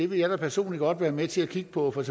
vil jeg da personlig godt være med til at kigge på for